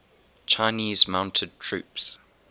chinese mounted troops